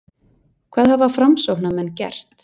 Hvað hafa Framsóknarmenn gert?